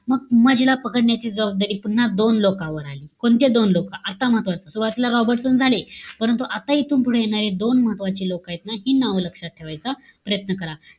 मग, उमाजीला पकडण्याची जबाबदारी पुन्हा दोन लोकांवर आली. कोणते दोन लोकं? आता महत्वाचं. सुरवातीला रॉबर्टसन झाले. परंतु, आता इथून पुढे येणारे दोन महत्वाचे लोकयत ना हि नावं लक्षात ठेवायचा प्रयत्न करा.